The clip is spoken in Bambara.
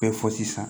Bɛɛ fɔ sisan